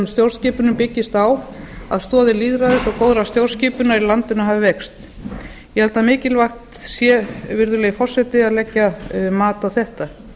stjórnskipunin byggist á að stoðir lýðræðis og góðrar stjórnskipunar í landinu hafi veikst ég held að mikilvægt sé virðulegi forseti að leggja mat á þetta